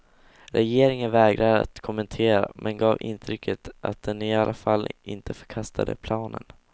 Regeringen vägrade att kommentera, men gav intrycket att den i alla fall inte förkastade planen.